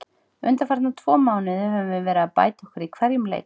Undanfarna tvö mánuði höfum við verið að bæta okkur í hverjum leik.